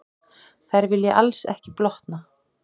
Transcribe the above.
þær vilja alls ekki blotna